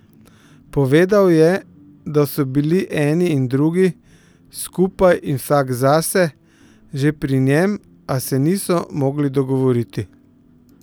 Povedal je, da so bili eni in drugi, skupaj in vsak zase, že pri njem, a se niso mogli dogovoriti.